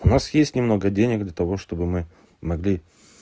у нас есть немного денег для того чтобы мы могли